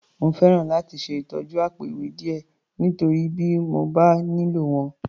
Mo fẹ́ràn láti ṣe ìtọ́jú àpò-ìwé díẹ̀, nítorí bí mo bá nílò wọn.